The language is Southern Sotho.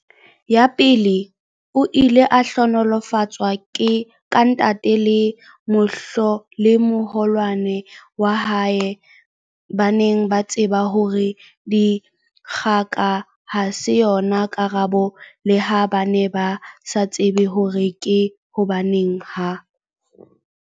Ya pele, o ile a hlohonolofatswa ka ntate le moholwane wa hae ba neng ba tseba hore dikgoka ha se yona karabo leha ba ne ba sa tsebe hore ke hobaneng ha